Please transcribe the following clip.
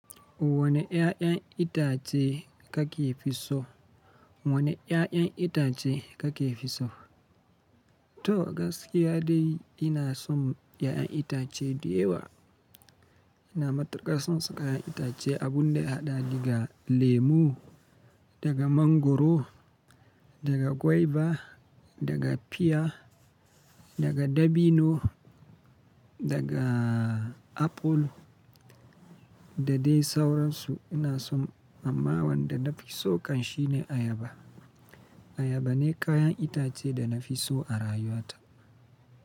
Wane ƴaƴan itace kake fi so? Wane 'ya'yan itace kake fi so? To, gaskiya dai ina son ƴaƴan itace dayawa. Ina matukar son su kayan itace, abun da ya haɗa diga lemo, daga mangwaro, daga guava, daga pear, daga dabino, daga apple, da dai sauransu. Ina son, amma wanda na fi so kan shi ne ayaba. Ayaba ne kayan itace da na fi so a rayuwata.